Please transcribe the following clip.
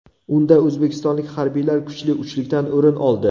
Unda o‘zbekistonlik harbiylar kuchli uchlikdan o‘rin oldi.